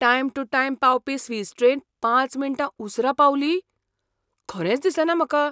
Time to time पावपी Swiss train पांच मिणटां उसरा पावली? खरेंच दिसना म्हाका.